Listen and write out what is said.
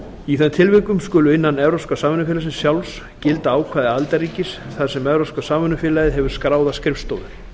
í þeim tilvikum skulu innan evrópska samvinnufélagsins sjálfs gilda ákvæði aðildarríkis þar sem evrópska samvinnufélagið hefur skráða skrifstofu